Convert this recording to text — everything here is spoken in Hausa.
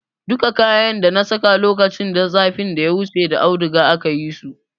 Duka kayan dana saka lokacin zafin da ya wuce da audiga aka yi su.